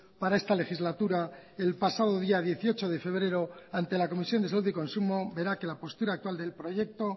para esta legislatura el pasado día dieciocho de febrero ante la comisión de salud y consumo vera que la postura actual del proyecto